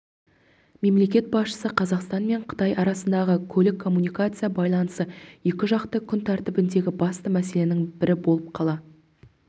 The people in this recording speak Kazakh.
мемлекет басшысы қазақстан мен қытай арасындағы көлік-коммуникация байланысы екіжақты күн тәртібіндегі басты мәселенің бірі болып қала